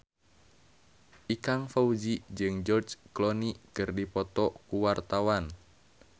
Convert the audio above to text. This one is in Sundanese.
Ikang Fawzi jeung George Clooney keur dipoto ku wartawan